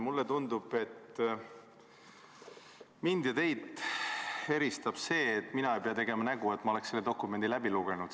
Mulle tundub, et mind ja teid eristab see, et mina ei pea tegema nägu, et ma olen selle dokumendi läbi lugenud.